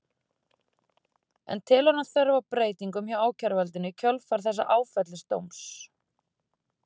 En telur hann þörf á breytingum hjá ákæruvaldinu í kjölfar þessa áfellisdóms?